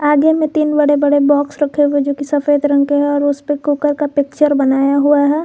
आगे में तीन बड़े बड़े बॉक्स रखे हुए जो की सफेद रंग के हैं और उस पे कुकर का पिक्चर बनाया हुआ है।